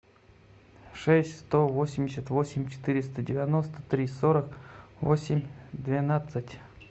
шесть сто восемьдесят восемь четыреста девяносто три сорок восемь двенадцать